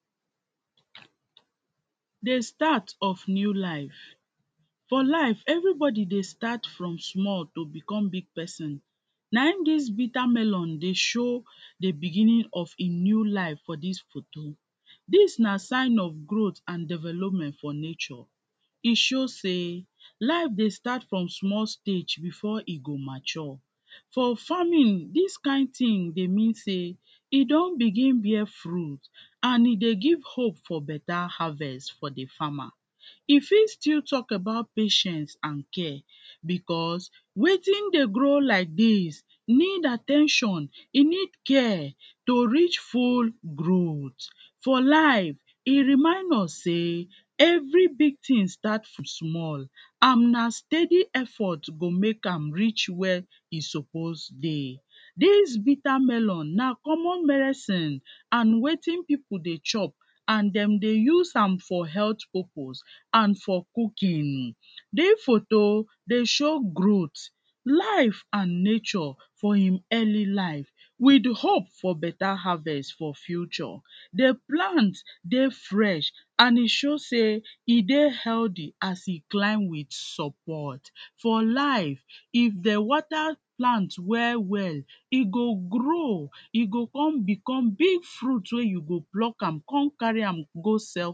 Di start of new life, for life everybody dey start from small to become big pesin naim dis bitter melon dey show di beginning of a new life for dis photo, dis na sign of growth and development for nature, e show sey life dey start from small stage before e go mature, for farming dis kind tin dey mean sey e don begin bear fruit and e dey give hope for better harvest for di farmer, e fit still talk about patience and care becos wetin dey grow like dis need at ten tion e need care to reach full growth. For life e remind us sey every big tin start from small and na steady effort to make am reach where e suppose dey. Dis bitter melon na common medicine and wetin pipu dey chop and dem dey use am for health purpose and for cooking, dis photo dey show growth, life and nature for im early life with di hope for better harvest for future, di plant dey fresh and e show sey e dey healthy as e climb with support, for life if dey water plant well well e go grow e go kon become big fruit wey you go pluck am come carry am go sell.